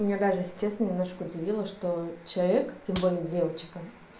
меня даже если честно немножко удивило что человек тем более девочка